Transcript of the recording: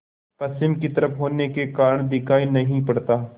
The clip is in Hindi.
पश्चिम की तरफ होने के कारण दिखाई नहीं पड़ता